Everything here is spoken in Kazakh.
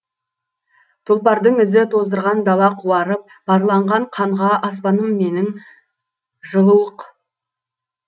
тұлпардың ізі тоздырған дала қуарып парланған қанға аспаным менің жылыуық